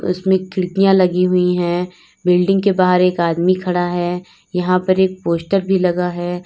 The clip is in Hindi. उसमें खिड़कियां लगी हुई है बिल्डिंग के बाहर एक आदमी खड़ा है यहां पर एक पोस्टर भी लगा है।